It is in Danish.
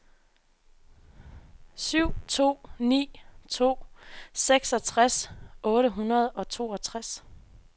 syv to ni to seksogtres otte hundrede og toogtres